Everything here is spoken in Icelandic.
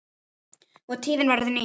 og tíðin verður ný